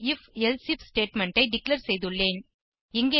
ஒரு if elsif statement ஐ declare செய்துள்ளேன்